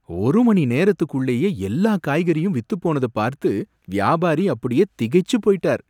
ஒரு மணி நேரத்துக்குள்ளேயே எல்லா காய்கறியும் வித்துப்போனத பார்த்து வியாபாரி அப்படியே திகைச்சு போயிட்டார்.